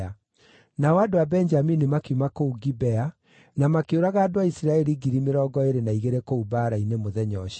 Nao andũ a Benjamini makiuma kũu Gibea na makĩũraga andũ a Isiraeli 22,000 kũu mbaara-inĩ mũthenya ũcio.